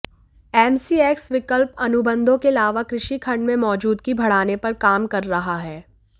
MCX विकल्प अनुबंधों के अलावा कृषि खंड में मौजूदगी बढ़ाने पर काम कर रहा है